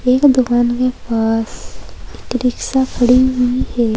एक दुकान के पास रिक्शा खड़ी हुई है।